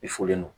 I fɔlen don